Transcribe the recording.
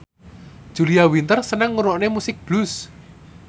Julia Winter seneng ngrungokne musik blues